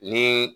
Ni